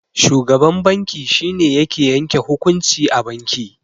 Shugaban banki shine yake yanke hukunci a banki.